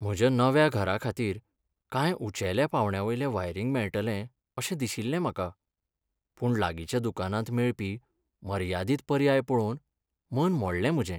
म्हज्या नव्या घराखातीर कांय उंचेल्या पांवड्यावेलें वायरिंग मेळटलें अशें दिशिल्लें म्हाका, पूण लागींच्या दुकानांत मेळपी मर्यादीत पर्याय पळोवन मन मोडलें म्हजें.